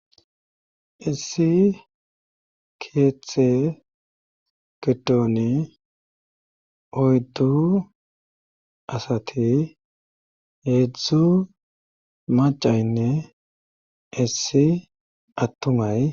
issi keeththe gedone oyddu asate hedzdzu macaynne issi attumay